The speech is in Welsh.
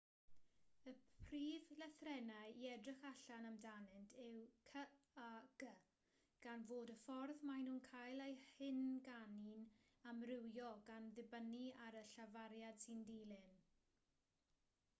y prif lythrennau i edrych allan amdanynt yw c a g gan fod y ffordd maen nhw'n cael eu hynganu'n amrywio gan ddibynnu ar y llafariad sy'n dilyn